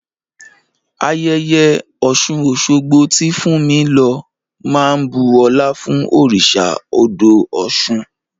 Ayẹyẹ Ọ̀ṣun-Ọ̀ṣogbo, tí Fúnmi lọ, máa ń bu ọlá fún òrìṣà odò Ọ̀ṣun.